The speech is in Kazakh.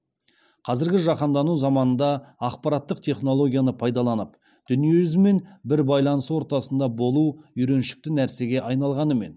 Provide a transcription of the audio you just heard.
қазіргі жаһандану заманында ақпараттық технологияны пайдаланып дүниежүзімен бір байланыс ортасында болу үйреншікті нәрсеге айналғанымен